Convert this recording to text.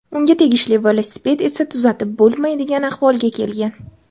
Unga tegishli velosiped esa tuzatib bo‘lmaydigan ahvolga kelgan.